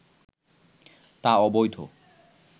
তা অবৈধ